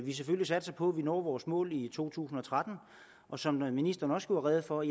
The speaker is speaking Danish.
vi selvfølgelig satser på at vi når vores mål i to tusind og tretten som ministeren også gjorde rede for